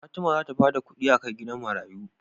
Fatima zata bada kidi akai gidan marayu